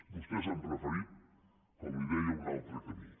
vostès han preferit com li deia un altre camí